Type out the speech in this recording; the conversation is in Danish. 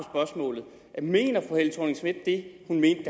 at mener fru helle thorning schmidt det hun mente